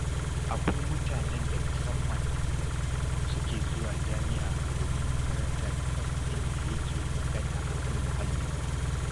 Akwai mutanen da musamman suke zuwa jami'a domin karantar kwas ɗin da yake magana a kan muhalli.